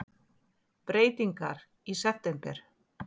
Breytingar í september